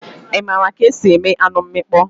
Ị maara ka esi eme anụ mmịkpọ?